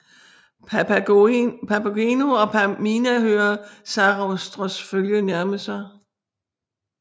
Papageno og Pamina hører Sarastros følge nærme sig